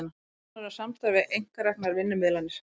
Hafi nánara samstarf við einkareknar vinnumiðlanir